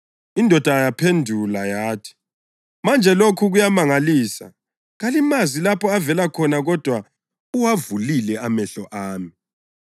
Indoda yaphendula yathi, “Manje lokhu kuyamangalisa! Kalimazi lapho avela khona kodwa uwavulile amehlo ami.